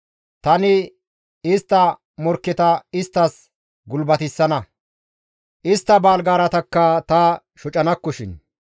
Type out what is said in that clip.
Tani istta morkketa isttas gulbatissana; istta baaligaaratakka ta shocanakkoshin.